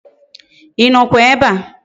Inokwa ebea?